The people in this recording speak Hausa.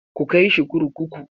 KU kai shi kurkuku!